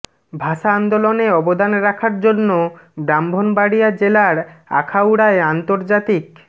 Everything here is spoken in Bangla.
ভাষা আন্দোলনে অবদান রাখার জন্য ব্রাহ্মণবাড়িয়া জেলার আখাউড়ায় আন্তর্জাতিক